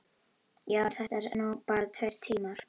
Já, en þetta eru nú bara tveir tímar.